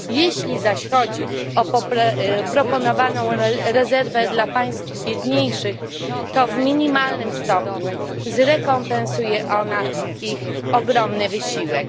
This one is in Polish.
Jeśli zaś chodzi o proponowaną rezerwę dla państw biedniejszych, to w minimalnym stopniu zrekompensuje ona ich ogromny wysiłek.